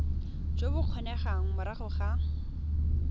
jo bo kgonegang morago ga